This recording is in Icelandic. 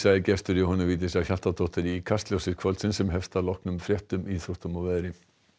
er gestur Jóhönnu Vigdísar Hjaltadóttur í Kastljósi kvöldsins sem hefst að loknum fréttum íþróttum og veðri